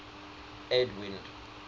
edwind